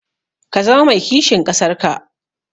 Ka zama mai kishin ƙasar ka.